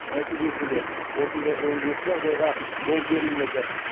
нәтижесінде осындай он жеті жағдайға жол берілмеді